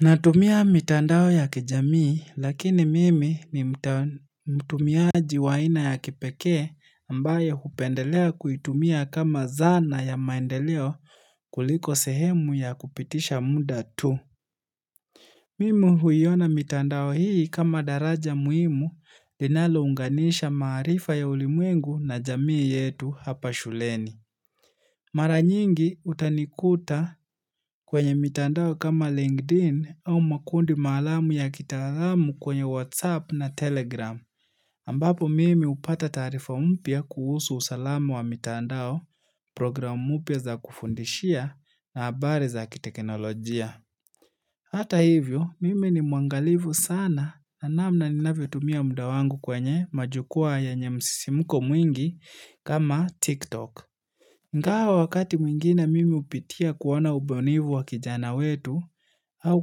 Natumia mitandao ya kijamii lakini mimi ni mtumiaji wa aina ya kipekee ambayo hupendelea kuitumia kama zana ya maendeleo kuliko sehemu ya kupitisha muda tu. Mimu huiona mitandao hii kama daraja muhimu linalo unganisha maarifa ya ulimwengu na jamii yetu hapa shuleni. Mara nyingi utanikuta kwenye mitandao kama LinkedIn au makundi maalamu ya kitalamu kwenye WhatsApp na Telegram. Ambapo mimi hupata taarifa mpya kuhusu usalamu wa mitandao, program mpya za kufundishia na habari za kitekenolojia. Hata hivyo, mimi ni muangalivu sana na namna ninavyotumia muda wangu kwenye majukwaa yenye msisimuko mwingi kama TikTok. Ingawa wakati mwingine mimi hupitia kuona ubunifuu wa kijana wetu au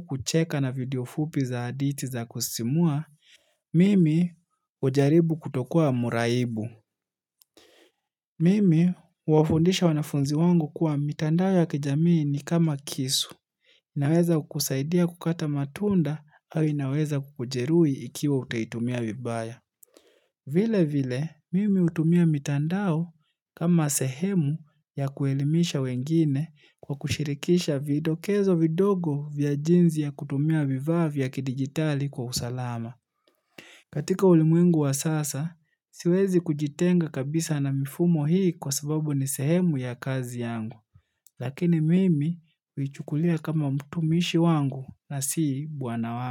kucheka na video fupi za adithi za kusimua, mimi ujaribu kutokua mraibu. Mimi huwafundisha wanafunzi wangu kuwa mitandao ya kijamii ni kama kisu, inaweza kukusaidia kukata matunda au inaweza kukujeruhi ikiwa utaitumia vibaya. Vile vile, mimi utumia mitandao kama sehemu ya kuelimisha wengine kwa kushirikisha vidokezo vidogo vya jinsi ya kutumia vifaa vya kidigitali kwa usalama. Katika ulimwengu wa sasa, siwezi kujitenga kabisa na mifumo hii kwa sababu ni sehemu ya kazi yangu. Lakini mimi huichukulia kama mtumishi wangu na si bwana wangu.